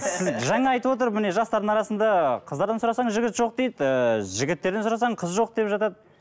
сіз жаңа айтып отыр міне жастардың арасында қыздардан сұрасаң жігіт жоқ дейді ыыы жігіттерден сұрасаң қыз жоқ деп жатады